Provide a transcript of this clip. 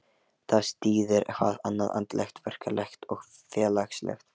Þar styður hvað annað, andlegt, verklegt og félagslegt.